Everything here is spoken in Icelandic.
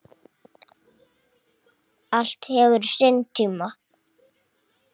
Allt hefur sinn tíma.